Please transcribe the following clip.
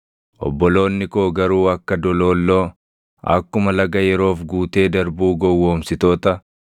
Obboloonni koo garuu akka doloolloo, akkuma laga yeroof guutee darbuu gowwoomsitoota;